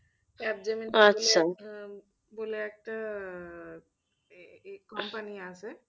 বলে একটা আহ company আছে